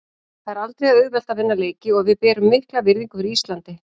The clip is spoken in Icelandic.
Það er aldrei auðvelt að vinna leiki og við berum mikla virðingu fyrir Íslandi.